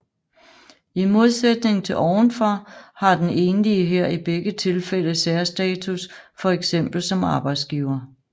I modsætning til ovenfor har den enlige her i begge tilfælde særstatus for eksempel som arbejdsgiver